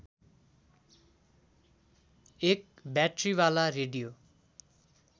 एक ब्याट्रीवाला रेडियो